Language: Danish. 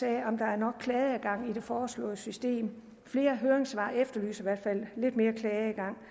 af om der er nok klageadgang i det foreslåede system flere høringssvar efterlyser i hvert fald lidt mere klageadgang